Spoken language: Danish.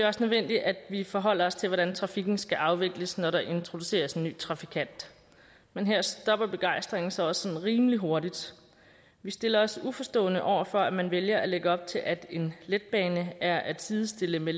også nødvendigt at vi forholder os til hvordan trafikken skal afvikles når der introduceres en ny trafikant men her stopper begejstringen så også sådan rimelig hurtigt vi stiller os uforstående over for at man vælger at lægge op til at en letbane er at sidestille med